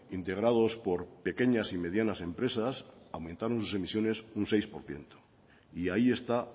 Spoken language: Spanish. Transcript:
integrados por pequeñas y medianas empresas aumentaron sus emisiones un seis por ciento y ahí está